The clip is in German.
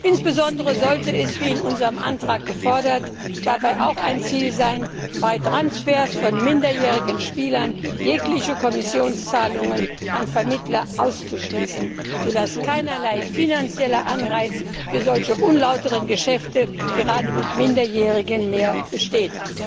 Insbesondere sollte es, wie in unserem Antrag gefordert, dabei auch ein Ziel sein, bei Transfers von minderjährigen Spielern jegliche Kommissionszahlungen an Vermittler auszuschließen, so dass keinerlei finanzieller Anreiz für solche unlauteren Geschäfte gerade mit Minderjährigen mehr besteht.